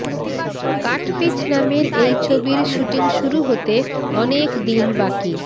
cut piece নামের এই ছবির শুটিং শুরু হতে অনেক দিন বাকি